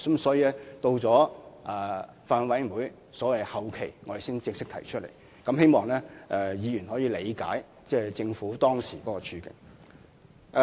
所以，我們到法案委員會的審議後期才正式提出修訂，希望議員可以理解政府當時的處境。